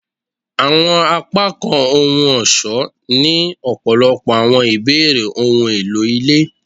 Awọn apakan ohun-ọṣọ ni ọpọlọpọ awọn ibeere ohun elo ile